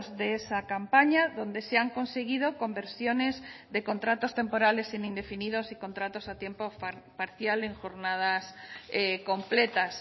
de esa campaña donde se han conseguido conversiones de contratos temporales en indefinidos y contratos a tiempo parcial en jornadas completas